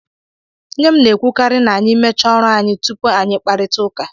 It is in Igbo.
Nne m na-ekwukarị na anyị mechaa ọrụ anyị tupu anyị kparịtaụka.